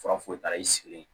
Fura foyi t'a la i sigi